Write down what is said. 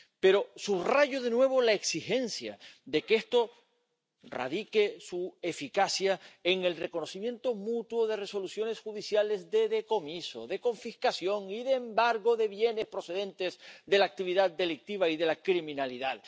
Pero subrayo, de nuevo, la exigencia de que esto base su eficacia en el reconocimiento mutuo de resoluciones judiciales de decomiso, de confiscación y de embargo de bienes procedentes de la actividad delictiva y de la criminalidad.